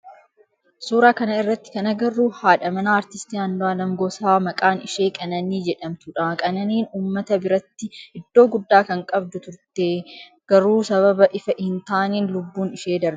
Suuraa kana irratti kan agarru haadha manaa aartistii Andu'aalem Gosaa maqaan ishee Qananii jedhamtudha. Qananiin ummata biratti iddoo guddaa kan qabdu turte, garuu sababa ifa hin taanen lubbuun ishee darbee jira.